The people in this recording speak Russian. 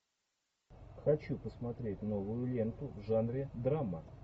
хочу посмотреть новую ленту в жанре драма